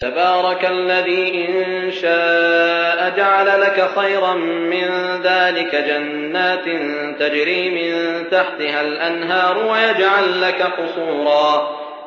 تَبَارَكَ الَّذِي إِن شَاءَ جَعَلَ لَكَ خَيْرًا مِّن ذَٰلِكَ جَنَّاتٍ تَجْرِي مِن تَحْتِهَا الْأَنْهَارُ وَيَجْعَل لَّكَ قُصُورًا